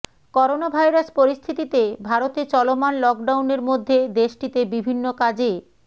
coronavirus পরিস্থিতিতে ভারতে চলমান লকডাউনের মধ্যে দেশটিতে বিভিন্ন কাজে